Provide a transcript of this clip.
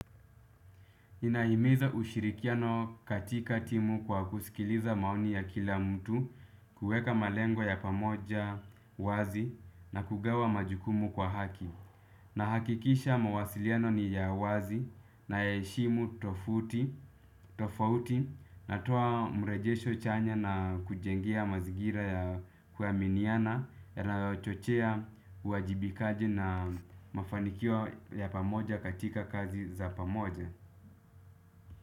Nimahimiza ushirikiano katika timu kwa kusikiliza maoni ya kila mtu kuweka malengo ya pamoja wazi na kugawa majukumu kwa haki. Nahakikisha mawasiliano ni ya wazi nayaheshimu tofauti natoa mrejesho chanya na kujengea mazigira ya kuaminiana na chochea uwajibikaji na mafanikio ya pamoja katika kazi za pamoja.